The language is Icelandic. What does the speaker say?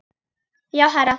Já, herra